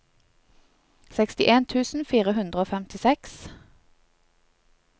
sekstien tusen fire hundre og femtiseks